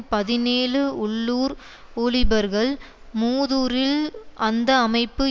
பதினேழு உள்ளூர் ஊழிபர்கள் மூதூரில் அந்த அமைப்பு